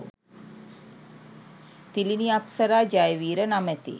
තිළිණි අප්සරා ජයවීර නමැති